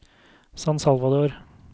San Salvador